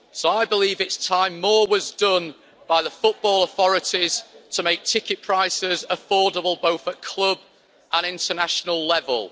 So I believe it's time more was done by the football authorities to make ticket prices affordable both at club and international level.